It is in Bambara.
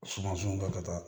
Sumanson kɛ ka taa